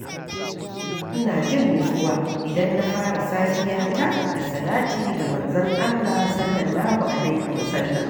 Ina jin nutsuwa idan na fara safiyata da salati ga Manzon Allah (S.A.W).